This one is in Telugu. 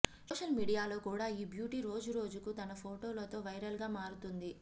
సోషల్ మీడియాలో కూడా ఈ బ్యూటీ రోజురోజుకు తన ఫోటోలతో వైరల్ గా మారుతుంది